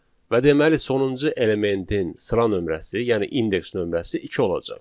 Və deməli sonuncu elementin sıra nömrəsi, yəni indeks nömrəsi iki olacaq.